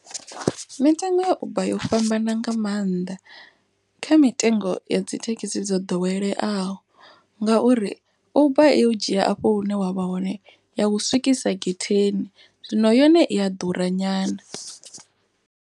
Mitengo ya uber yo fhambana nga maanḓa kha mitengo ya dzithekhisi dzo ḓoweleaho. Ngauri uber i u dzhia afho hune wavha hone ya u swikisa getheni zwino yone i a ḓura nyana.